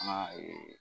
An ka